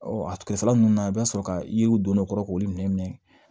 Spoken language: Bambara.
a kɛrɛfɛla ninnu na i bɛ sɔrɔ ka yiriw don ne kɔrɔ k'olu minɛ